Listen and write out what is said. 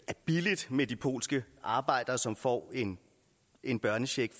er billigt med de polske arbejdere som får en en børnecheck